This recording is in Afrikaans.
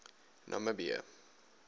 namibië